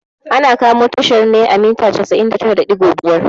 Ana kamo tashar ne a mita casa'in da tara da ɗigo biyar